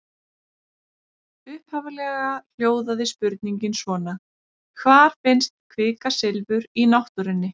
Upphaflega hljóðaði spurningin svona: Hvar finnst kvikasilfur í náttúrunni?